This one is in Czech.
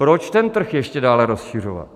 Proč ten trh ještě dále rozšiřovat?